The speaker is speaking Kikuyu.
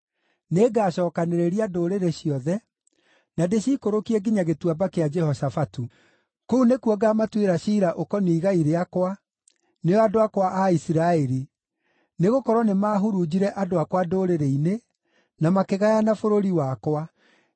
nĩngacookanĩrĩria ndũrĩrĩ ciothe, na ndĩciikũrũkie nginya Gĩtuamba kĩa Jehoshafatu. Kũu nĩkuo ngaamatuĩra ciira ũkoniĩ igai rĩakwa, nĩo andũ akwa a Isiraeli, nĩgũkorwo nĩmahurunjire andũ akwa ndũrĩrĩ-inĩ, na makĩgayana bũrũri wakwa.